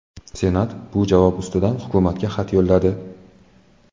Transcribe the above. Senat bu javob ustidan hukumatga xat yo‘lladi.